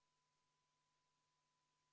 Eelnõu 340 SE on esimesel lugemisel tagasi lükatud.